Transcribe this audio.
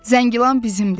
Zəngilan bizimdir!